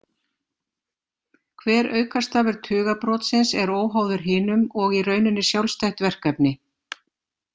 Hver aukastafur tugabrotsins er óháður hinum og í rauninni sjálfstætt verkefni.